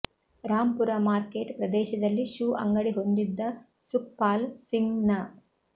ರಾಮ್ ಪುರ ಮಾರ್ಕೆಟ್ ಪ್ರದೇಶದಲ್ಲಿ ಶೂ ಅಂಗಡಿ ಹೊಂದಿದ್ದ ಸುಖ್ ಪಾಲ್ ಸಿಂಗ್ ನ